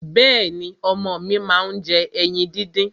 Bẹ́ẹ̀ni, ọmọ mi máa ń jẹ ẹyin díndín.